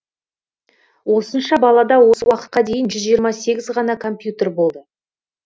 осынша балада осы уақытқа дейін жүз жиырма сегіз ғана компьютер болды